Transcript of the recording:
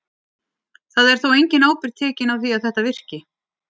Það er þó engin ábyrgð tekin á því að þetta virki.